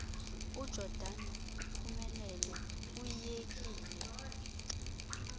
ujordan uphumle uyiyekile